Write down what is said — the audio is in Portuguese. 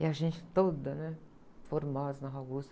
E a gente toda, né? Formosa na Rua Augusta.